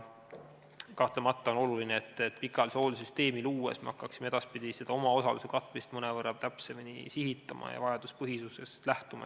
Kahtlemata on oluline, et me hakkaksime pikaajalise hoolduse süsteemi luues edaspidi seda omaosaluse katmist mõnevõrra täpsemini sihitama ja rohkem vajaduspõhisusest lähtuma.